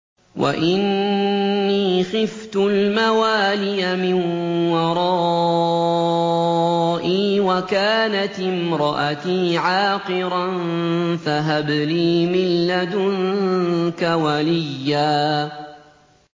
وَإِنِّي خِفْتُ الْمَوَالِيَ مِن وَرَائِي وَكَانَتِ امْرَأَتِي عَاقِرًا فَهَبْ لِي مِن لَّدُنكَ وَلِيًّا